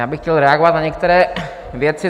Já bych chtěl reagovat na některé věci.